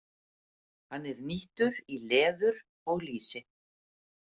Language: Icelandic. Hann er nýttur í leður og lýsi.